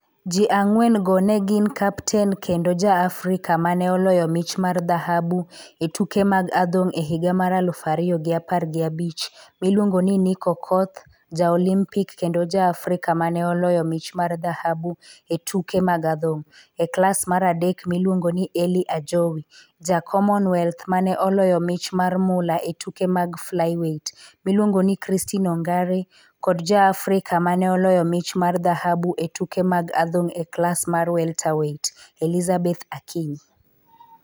Ji ang'wen-go ne gin kapten kendo ja-Afrika ma ne oloyo mich mar dhahabu e tuke mag adhong' e higa mar aluf ariyo gi apar gi abich miluongo ni Nick Okoth, ja-Olimpik kendo ja-Afrika ma ne oloyo mich mar dhahabu e tuke mag adhong' e klas mar adek miluongo ni Elly Ajowi, ja-Commonwealth ma ne oloyo mich mar mula e tuke mag flyweight miluongo ni Christine Ongare kod ja-Afrika ma ne oloyo mich mar dhahabu e tuke mag adhong' e klas mar welterweight Elizabeth Akinyi.